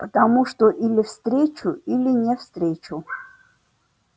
потому что или встречу или не встречу